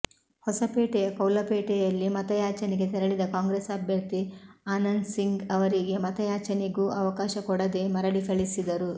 ಹೊಸಪೇಟೆಯ ಕೌಲಪೇಟೆ ಯಲ್ಲಿ ಮತಯಾಚನೆಗೆ ತೆರಳಿದ ಕಾಂಗ್ರೆಸ್ ಅಭ್ಯರ್ಥಿ ಆನಂದ್ಸಿಂಗ್ ಅವರಿಗೆ ಮತಯಾಚನೆಗೂ ಅವಕಾಶ ಕೊಡದೇ ಮರಳಿ ಕಳಿಸಿದರು